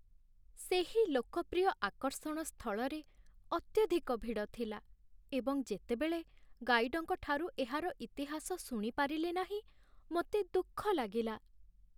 ସେହି ଲୋକପ୍ରିୟ ଆକର୍ଷଣ ସ୍ଥଳରେ ଅତ୍ୟଧିକ ଭିଡ଼ ଥିଲା, ଏବଂ ଯେତେବେଳେ ଗାଇଡ୍‌ଙ୍କଠାରୁ ଏହାର ଇତିହାସ ଶୁଣି ପାରିଲି ନାହିଁ, ମୋତେ ଦୁଃଖ ଲାଗିଲା